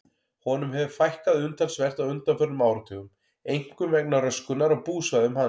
Honum hefur fækkað umtalsvert á undanförnum áratugum, einkum vegna röskunar á búsvæðum hans.